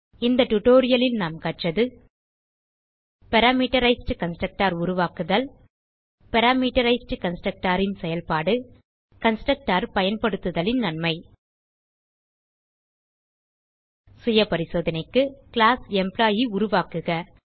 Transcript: இந்த டியூட்டோரியல் லில் நாம் கற்றது பாராமீட்டரைஸ்ட் கன்ஸ்ட்ரக்டர் உருவாக்குதல் பாராமீட்டரைஸ்ட் கன்ஸ்ட்ரக்டர் ன் செயல்பாடு கன்ஸ்ட்ரக்டர் பயன்படுத்துதலின் நன்மை சுயபரிசோதனைக்கு கிளாஸ் எம்ப்ளாயி உருவாக்குக